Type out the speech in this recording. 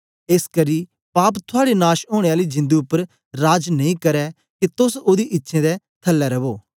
एसकरी पाप थुआड़े नाश ओनें आली जिंदु उपर राज नेई करै के तोस ओदी इच्छें दे थलै रवो